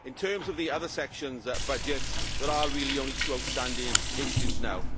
In terms of the other sections' budgets, there are really only two outstanding issues now.